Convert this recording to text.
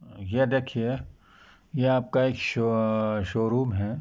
ये देखिये ये आपका एक शो शो रूम है।